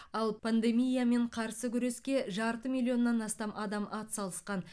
ал пандемиямен қарсы күреске жарты миллионнан астам адам атсалысқан